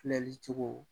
Filɛli cogo